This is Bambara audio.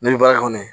Ne bɛ baara kɔnɔ